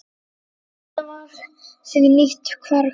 Þetta var því nýtt hverfi.